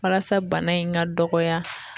Walasa bana in ga dɔgɔya